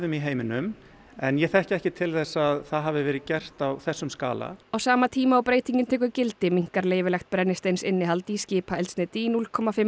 í heiminum en ég þekki ekki til þess að það hafi verið gert á þessum skala á sama tíma og breytingin tekur gildi minnkar leyfilegt brennisteinsinnihald í skipaeldsneyti í